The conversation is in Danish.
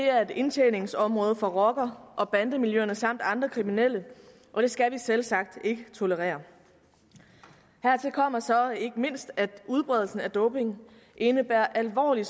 er et indtjeningsområde for rocker og bandemiljøerne samt andre kriminelle og det skal vi selvsagt ikke tolerere hertil kommer så ikke mindst at udbredelsen af doping indebærer alvorlige